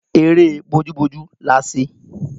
Eré bójú bójú la ṣe